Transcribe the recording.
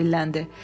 Emil dilləndi.